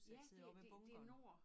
Ja det det det nord